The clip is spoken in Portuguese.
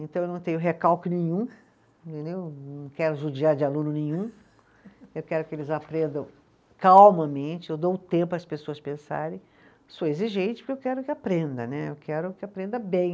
Então eu não tenho recalque nenhum, entendeu, não quero judiar de aluno nenhum, eu quero que eles aprendam calmamente, eu dou o tempo para as pessoas pensarem, sou exigente porque eu quero que aprenda né, eu quero que aprenda bem.